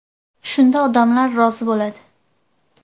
Shunda odamlar rozi bo‘ladi.